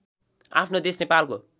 आफ्नो देश नेपालको